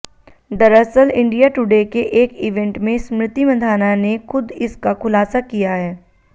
दरअसल India today के एक इवेंट में स्मृति मंधाना ने खुद इसका खुलासा किया है